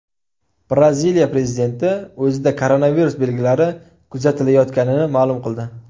Braziliya prezidenti o‘zida koronavirus belgilari kuzatilayotganini ma’lum qildi.